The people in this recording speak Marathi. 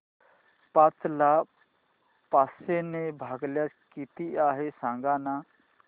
पाच ला पाचशे ने भागल्यास किती आहे सांगना